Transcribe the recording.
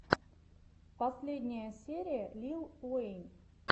последняя серия лил уэйн